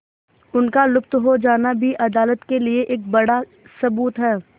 उनका लुप्त हो जाना भी अदालत के लिए एक बड़ा सबूत है